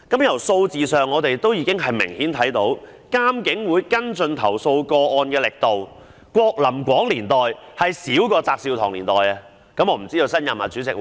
從數字上已明顯可見，監警會跟進投訴個案的力度，在郭琳廣任主席的時期較翟紹唐任主席時弱。